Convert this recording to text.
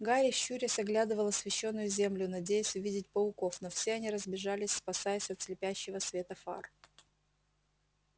гарри щурясь оглядывал освещённую землю надеясь увидеть пауков но все они разбежались спасаясь от слепящего света фар